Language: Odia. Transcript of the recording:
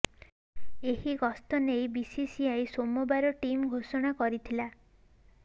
ଏହି ଗସ୍ତ ନେଇ ବିସିସିଆଇ ସୋମବାର ଟିମ୍ ଘୋଷଣା କରିଥିଲା